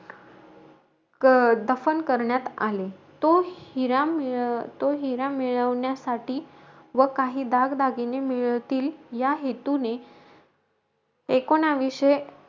क अं दफन करण्यात आले. तो हिरा मिळ तो हिरा मिळवण्यासाठी व काही दागदागिने मिळतील, या हेतूने, एकुणाविशे,